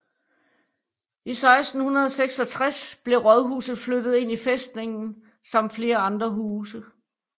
I 1666 blev rådhuset flyttet ind i fæstningen samt flere andre huse